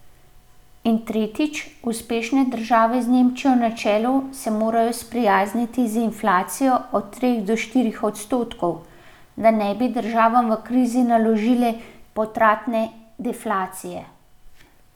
In tretjič, uspešne države z Nemčijo na čelu se morajo sprijazniti z inflacijo od treh do štirih odstotkov, da ne bi državam v krizi naložile potratne deflacije.